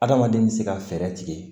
Adamaden bɛ se ka fɛɛrɛ tigɛ